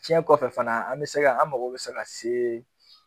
cɛn kɔfɛ fana an bɛ se ka an mago bɛ se ka se